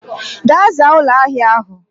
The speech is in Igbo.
Gaa zaa ulo ahia ahu